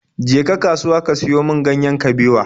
Je ka kasuwa ka siyo min ganyen kabewa!